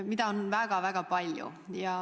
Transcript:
Seda kõike on väga-väga palju.